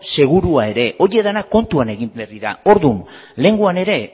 segurua ere horiek denak kontuan egin behar dira orduan lehengoan ere